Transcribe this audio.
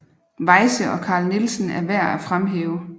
Weyse og Carl Nielsen er værd at fremhæve